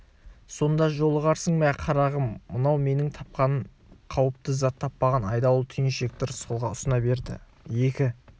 сонда жолығарсың мә қарағым мынау менің тапқаным қауіпті зат таппаған айдауыл түйіншекті рысқұлға ұсына берді екі